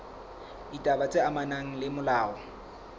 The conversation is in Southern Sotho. ditaba tse amanang le molao